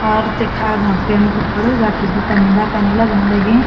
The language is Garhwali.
और तेखा अगोन टेंपो खडू राठी दुकानी-दकानी लगण लगीं।